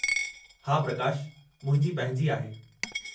हा प्रकाश, मुंहिंजी पंहिंजी आहे।